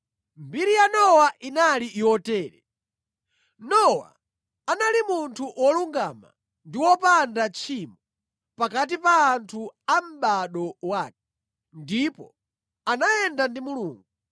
Mbiri ya Nowa inali yotere: Nowa anali munthu wolungama ndi wopanda tchimo pakati pa anthu a mʼbado wake. Ndipo anayenda ndi Mulungu.